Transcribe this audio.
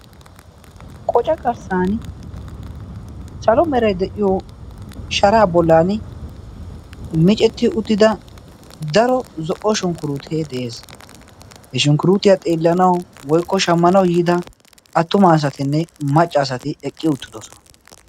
qoca qarssan salo meray deiiyo sharaa bollan micetti uttida daro zo'o shunkkurutee de'ees. he shunkkuruutiyaa xeellanawu woykko shaammanawu yiida attumaa asatinne maccaasati eqqi uttidosona.